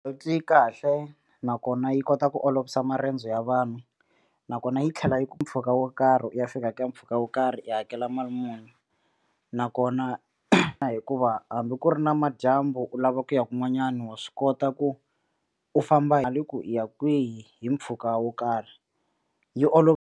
Yi kahle nakona yi kota ku olovisa marendzo ya vanhu nakona yi tlhela yi ku mpfhuka wo karhi u ya fika ka mpfhuka wo karhi i hakela mali muni nakona hikuva hambi ku ri na madyambu u lava ku ya kun'wanyana wa swi kota ku u famba hi le ku yi ya kwihi hi mpfhuka wo karhi yi olova.